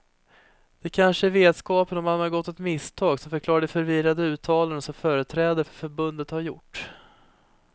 Det kanske är vetskapen om att man har begått ett misstag som förklarar de förvirrade uttalanden som företrädare för förbundet har gjort.